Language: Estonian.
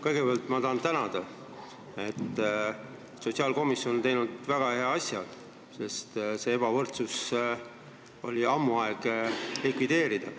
Kõigepealt ma tahan tänada, et sotsiaalkomisjon on teinud väga hea asja, sest ammu oli aeg see ebavõrdsus likvideerida.